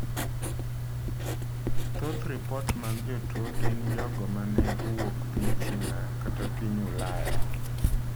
Thoth ripot mag jotuwo gin jogo ma ne owuok piny China kata piny Ulaya.